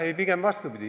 Ei, pigem vastupidi.